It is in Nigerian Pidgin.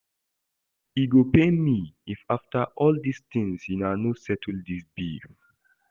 E go pain me if after all dis things una no settle dis beef